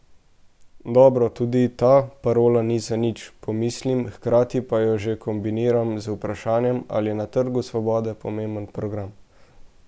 Dobro, tudi ta parola ni zanič, pomislim, hkrati pa jo že kombiniram z vprašanjem, ali je na Trgu svobode pomemben program.